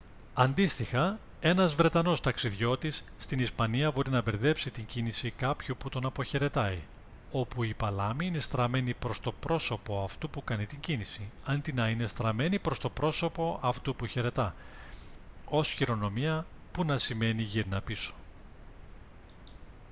αντίστοιχα ένας βρετανός ταξιδιώτης στην ισπανία μπορεί να μπερδέψει την κίνηση κάποιου που τον αποχαιρετάει όπου η παλάμη είναι στραμμένη προς το πρόσωπο αυτού που κάνει την κίνηση αντί να είναι στραμμένη προς το πρόσωπο αυτού που χαιρετά ως χειρονομία που να σημαίνει «γύρνα πίσω»